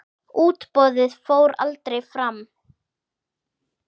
Útboðið fór aldrei fram.